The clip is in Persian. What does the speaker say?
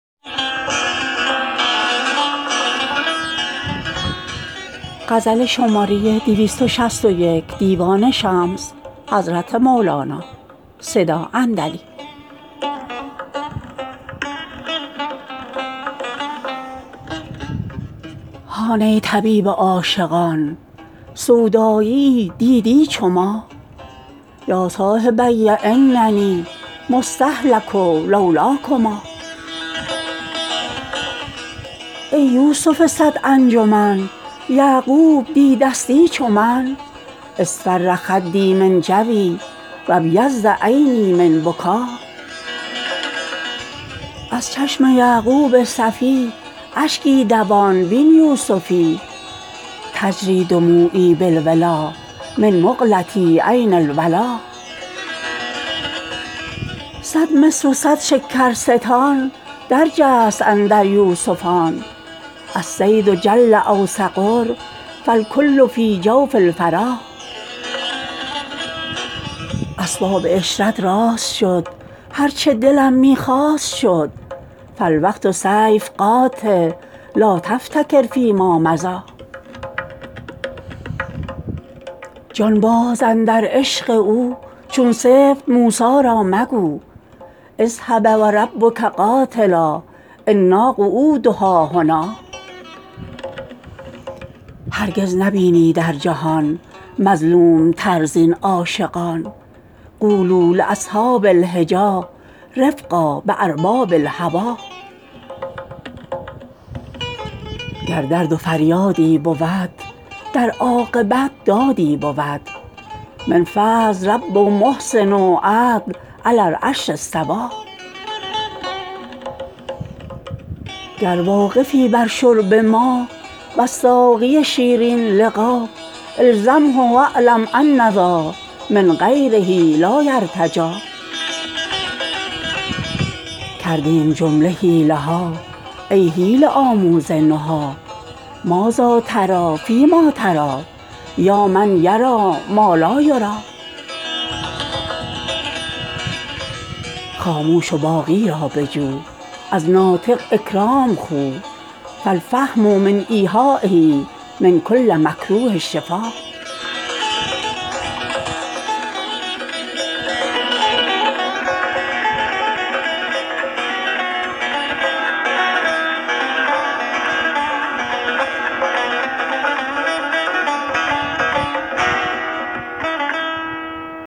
هان ای طبیب عاشقان سودایی یی دیدی چو ما یا صاحبی اننی مستهلک لو لاکما ای یوسف صد انجمن یعقوب دیده ستی چو من اصفر خدی من جوی و ابیض عینی من بکا از چشم یعقوب صفی اشکی دوان بین یوسفی تجری دموعی بالولا من مقلتی عین الولا صد مصر و صد شکرستان درجست اندر یوسفان الصید جل او صغر فالکل فی جوف الفرا اسباب عشرت راست شد هر چه دلم می خواست شد فالوقت سیف قاطع لا تفتکر فیما مضی جان باز اندر عشق او چون سبط موسی را مگو اذهب و ربک قاتلا انا قعودها هنا هرگز نبینی در جهان مظلوم تر زین عاشقان قولوا لاصحاب الحجی رفقا بارباب الهوی گر درد و فریادی بود در عاقبت دادی بود من فضل رب محسن عدل علی العرش استوی گر واقفی بر شرب ما وز ساقی شیرین لقا الزمه و اعلم ان ذا من غیره لا یرتجی کردیم جمله حیله ها ای حیله آموز نهی ماذا تری فیما تری یا من یری ما لا یری خاموش و باقی را بجو از ناطق اکرام خو فالفهم من ایحایه من کل مکروه شفا